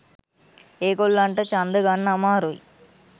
ඒගොල්ලන්ට ඡන්ද ගන්න අමාරුයි.